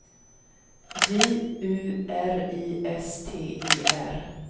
J U R I S T E R